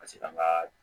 Paseke an ka